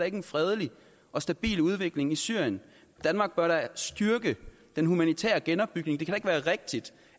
ikke en fredelig og stabil udvikling i syrien danmark bør da styrke den humanitære genopbygning det kan da ikke være rigtigt